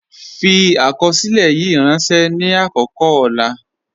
Fi akọsilẹ̀ yìí rànṣẹ ni akọkọ ọlà.